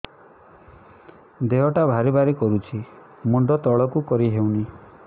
ଦେହଟା ଭାରି ଭାରି କରୁଛି ମୁଣ୍ଡ ତଳକୁ କରି ହେଉନି